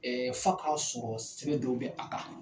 ɛɛ F'a k'a sɔrɔ sɛbɛ dɔw bɛ a kan!